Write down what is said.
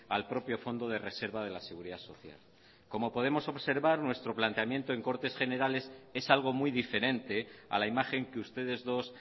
al propio fondo de reserva de la seguridad social como podemos observar nuestro planteamiento en cortes generales es algo muy diferente a la imagen que ustedes dos